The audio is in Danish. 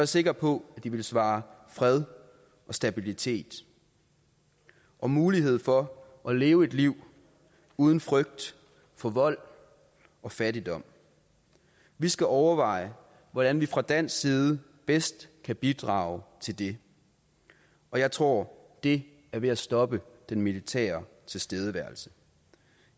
sikker på at de vil svare fred og stabilitet og mulighed for at leve et liv uden frygt for vold og fattigdom vi skal overveje hvordan vi fra dansk side bedst kan bidrage til det og jeg tror det er ved at stoppe den militære tilstedeværelse